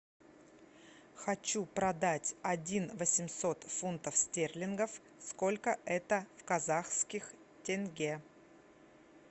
хочу продать один восемьсот фунтов стерлингов сколько это в казахских тенге